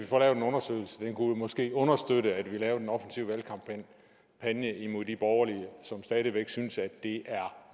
få lavet en undersøgelse det kunne måske understøtte at vi lavede en offensiv valgkampagne imod de borgerlige som stadig væk synes at det er